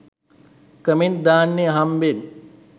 comment දාන්නෙ අහම්බෙන්